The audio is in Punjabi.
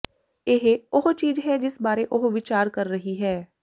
ਇਹ ਉਹ ਚੀਜ ਹੈ ਜਿਸ ਬਾਰੇ ਉਹ ਵਿਚਾਰ ਕਰ ਰਹੀ ਹੈ